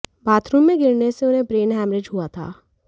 bathroom में गिरने से उन्हें ब्रेन हैमरेज हुआ था